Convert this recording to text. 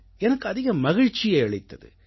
எனக்கு அதிக மகிழ்ச்சியை அளித்தது